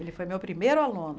Ele foi meu primeiro aluno.